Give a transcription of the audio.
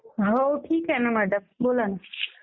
हो ठीक आह ना मॅडम. बोला ना.